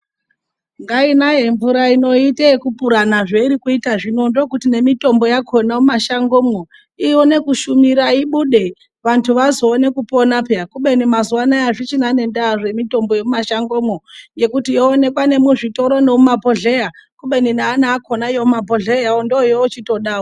Ngainaye mvura ino iite yekupurana zveiri kuita zvino ndokuti nemitombo yakona mumashango mwo ione kushumira ibude vantu vazoone kupona puya kubeni mazuwa anaya azvichina nendaa zvemitombo yemumashango mwo yokuti yoonekwa nemuzvitoro nomu mabhohleya kubeni naana akona yomumabhohleyayo ndoyo ochitodawo.